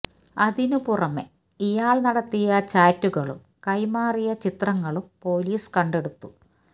അതിന് പുറമെ ഇയാള് നടത്തിയ ചാറ്റുകളും കൈമാറിയ ചിത്രങ്ങളും പോലീസ് കണ്ടെടുത്തു